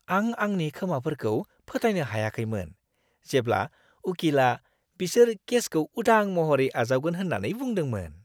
आं आंनि खोमाफोरखौ फोथायनो हायाखैमोन, जेब्ला उकिलआ बिसोर केसखौ उदां महरै आजावगोन होन्नानै बुंदोंमोन!